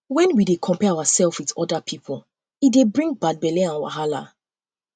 um when we dey compare ourself with oda pipo e dey um bring bad belle and wahala